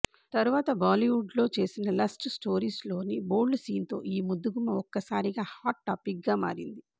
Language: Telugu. తరువాత బాలీవుడ్ లో చేసిన లస్ట్ స్టోరీస్లోని బోల్డ్ సీన్తో ఈ ముద్దుగుమ్మ ఒక్కసారిగా హాట్ టాపిక్గా మారింది